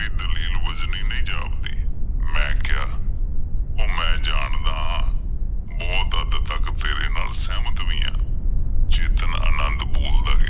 ਦਲੀਲ ਵਜ਼ਨੀ ਨਹੀਂ ਜਾਪ ਦੀ, ਮੈਂ ਕਿਹਾ, ਉਹ ਮੈਂ ਜਾਣਦਾ ਬਹੁਤ ਹੱਦ ਤੱਕ ਤੇਰੇ ਨਾਲ ਸਹਿਮਤ ਵੀ ਆ। ਚੇਤਨ ਅਨੰਦ ਬੋਲਦਾ ਗਿਆ।